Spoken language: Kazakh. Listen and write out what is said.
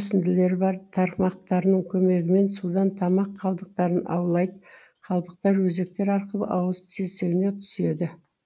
өсінділері бар тармақтарының көмегімен судан тамақ қалдықтарын аулайды қалдықтар өзектер арқылы ауыз тесігіне түседі